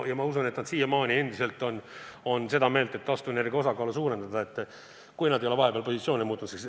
Ja ma usun, et nad on endiselt seda meelt, et taastuvenergia osakaalu tuleb suurendada – kui nad just ei ole vahepeal oma positsioone muutnud.